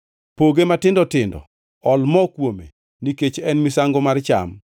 Poge matindo tindo, ol mo kuome, nikech en misango mar cham.